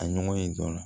A ɲɔgɔn ye dɔ la